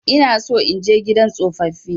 Ina so in je gidan tsofaffi.